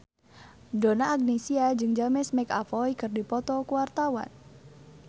Donna Agnesia jeung James McAvoy keur dipoto ku wartawan